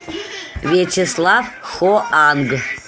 вячеслав хоанг